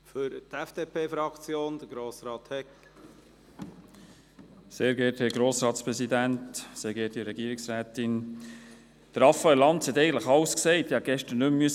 Raphael Lanz hat eigentlich schon alles gesagt, ich hätte gestern meinen Speech nicht mehr schreiben müssen.